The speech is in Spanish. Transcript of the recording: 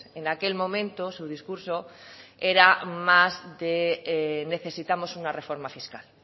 en aquel momento su discurso era más de necesitamos una reforma fiscal